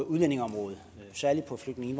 udlændingeområdet særlig på flygtninge